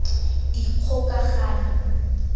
dikgokagano